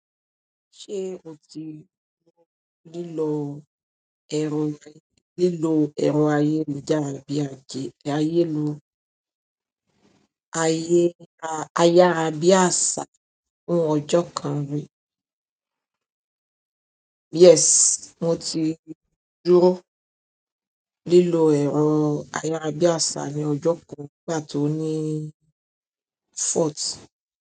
Ṣé o ti lílọ̀ ẹrọ rí, lílọ̀ ẹ̀rọ ayélujára bíi àjẹ ayélu, ayárá bíi àṣá fún ọjọ́ kan rí? Yes, mo ti dúró lílọ̀ ẹ̀rọ ayárá bíi àṣá ní ọjọ́ kan pàtó ní Fort.